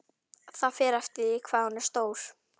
Það fer eftir því hvað hún er stór.